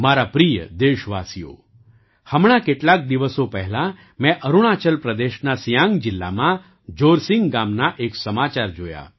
મારા પ્રિય દેશવાસીઓ હમણાં કેટલાક દિવસો પહેલાં મેં અરુણાચલ પ્રદેશના સિયાંગ જિલ્લામાં જોરસિંગ ગામના એક સમાચાર જોયા